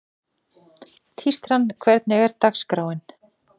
Tístran, hvernig er dagskráin?